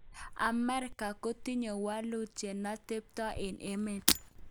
Amerika kotinye wolutik cheno tebto eng emet.